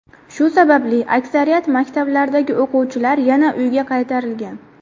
Shu sababli aksariyat maktablardagi o‘quvchilar yana uyga qaytarilgan.